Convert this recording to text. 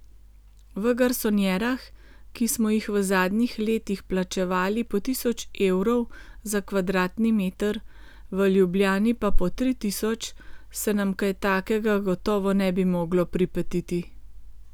V garsonjerah, ki smo jih v zadnjih letih plačevali po tisoč evrov za kvadratni meter, v Ljubljani pa po tri tisoč, se nam kaj takega gotovo ne bi moglo pripetiti.